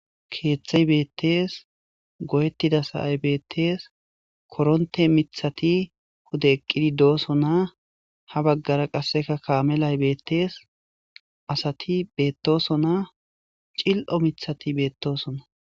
keeththay beettees goyettida sa'ay beettees koronte mithati huda eqqidi doosonaa ha baggara qasseka kaamelay beettees asati beettoso naa cil'o mithati beettosona